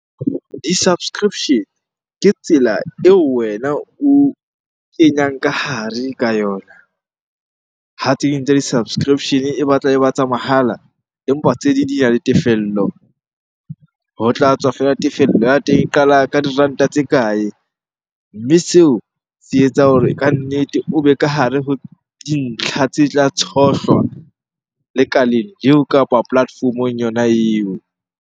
Di-subscription ke tsela eo wena o kenyang ka hare ka yona. Ha tse ding tsa di-subscription-e e batla e ba tsa mahala, empa tse ding di na le tefello. Ho tla tswa feela tefello ya teng e qala ka diranta tse kae? Mme seo se etsa hore kannete o be ka hare ho dintlha tse tla tshohlwa lekaleng eo kapa platform-ong yona eo.